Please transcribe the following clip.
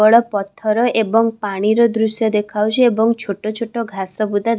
କେବଳ ପଥର ଏବଂ ପାଣି ର ଦ୍ରୁଶ୍ୟ ଦେଖାଯାଇଛି ଏବଂ ଛୋଟଛୋଟ ଘାସ ବୁଦା।